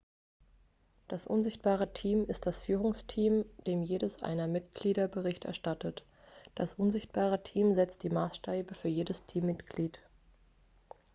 "das "unsichtbare team" ist das führungsteam dem jedes der mitglieder bericht erstattet. das unsichtbare team setzt die maßstäbe für jedes mitglied.x